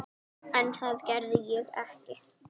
En það gerði ég ekki.